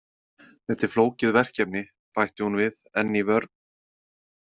Þetta er flókið verkefni, bætti hún við enn í vörn.